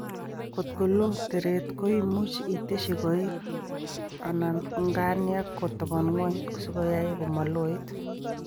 kot koloo tereet ko imuchi itesyi koik/nganiek kotabon ng'wony sikoyai komaloit